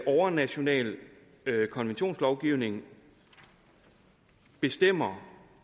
overnationale konventionslovgivning bestemmer